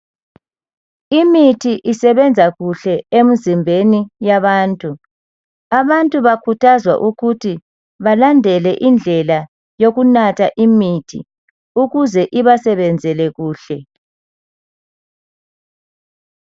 Imithi isebenza kuhle emizimbeni yabantu, abantu bakhuthazwa ukuthi balandele indlela yokunatha imithi ukuze ibasebenzele kuhle.